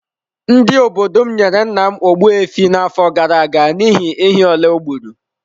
Ndị obodo m nyere nna m Ogbu efi n’afọ gara aga n’ihi ehi ole o gburu.